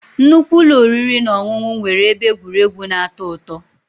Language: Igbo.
Nnukwu ụlọ oriri na ọṅụṅụ nwere ebe egwuregwu na-atọ ụtọ